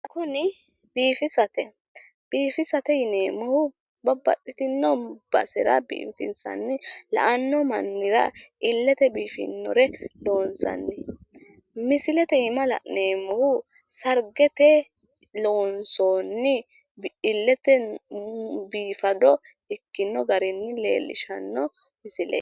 Tini biifisate biifisate yineemmohu babbaxxitino basera biifinsanni la'anno mannira illete biifinnore loonsanni. Misilete iima la'neemmohu sargete loonsoonni illetenni biifado ikkino garinni leellishshanno misileeti.